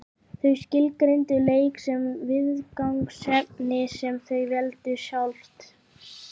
Þau skilgreindu leik sem viðfangsefni sem þau veldu sjálf.